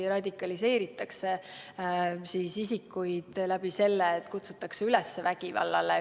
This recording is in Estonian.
see, kui radikaliseeritakse isikuid selle kaudu, et neid kutsutakse üles vägivallale.